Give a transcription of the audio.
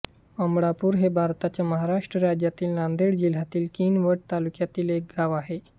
अमळापूर हे भारताच्या महाराष्ट्र राज्यातील नांदेड जिल्ह्यातील किनवट तालुक्यातील एक गाव आहे